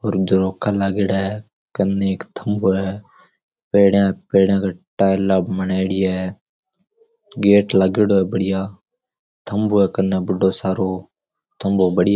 और झरोखा लागयोड़ा है कने एक थम्बो है पेडिया है पेडिया के टायला बनायोडी है गेट लागेङो है बढ़िया थम्भों है कने बढ़ो सारो थम्बो बड़ी --